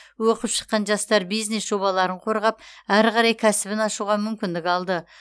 оқып шыққан жастар бизнес жобаларын қорғап әрі қарай кәсібін ашуға мүмкіндік алды